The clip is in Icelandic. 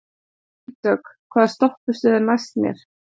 Vígdögg, hvaða stoppistöð er næst mér?